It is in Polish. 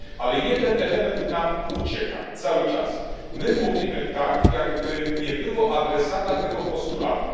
Ale jeden element nam ucieka cały czas my mówimy tak, jakby nie było adresata tego postulatu.